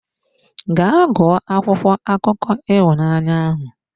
Gaa gụọ akwụkwọ akụkọ ịhụnanya ahụ!